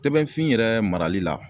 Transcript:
Tɛbɛn fin yɛrɛ marali la